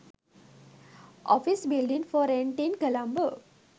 office building for rent in colombo